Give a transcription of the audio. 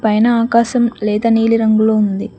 పైన ఆకాశం లేత నీలి రంగులో ఉంది.